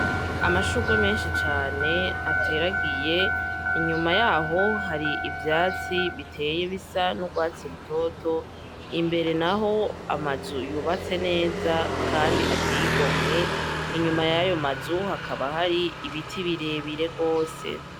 Amashurwe menshi cane ateragiye inyuma yaho hari ivyatsi biteye bisa n'urwatsi rutoto imbere na ho amazuyubatse neza, kandi ateyigomwe inyuma yayo mazuha akaba hari ibiti birebire rwose.